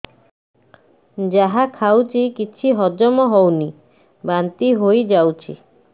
ଯାହା ଖାଉଛି କିଛି ହଜମ ହେଉନି ବାନ୍ତି ହୋଇଯାଉଛି